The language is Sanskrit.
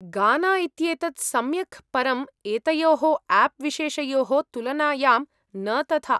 गाना इत्येतत् सम्यक् परम् एतयोः आप् विशेषयोः तुलनायां न तथा।